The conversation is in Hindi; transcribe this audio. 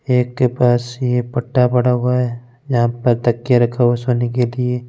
एक के पास यह पता पड़ा हुआ है यहाँ पर तकिये रखे हुए है सोने के लिए।